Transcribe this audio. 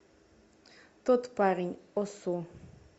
тот парень осу